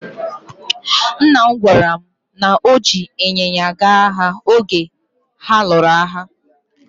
Nna m gwara mụ na o ji ịnyịnya gaa agha oge ha lụrụ agha.